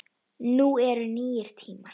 Nú eru nýir tímar.